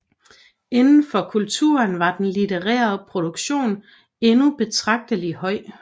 Inden for kulturen var den litterære produktion endnu betragtelig høj